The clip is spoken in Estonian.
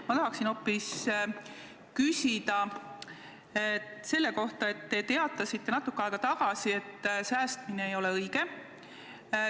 Ma tahan hoopis küsida selle kohta, et te teatasite natuke aega tagasi, et säästmine ei ole õige.